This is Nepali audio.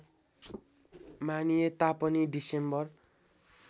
मानिए तापनि डिसेम्बर